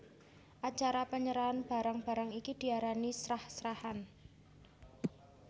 Acara penyerahan barang barang iki diarani srah srahan